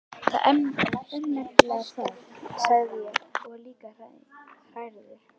Það er nefnilega það, sagði ég og var líka hrærður.